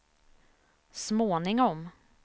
småningom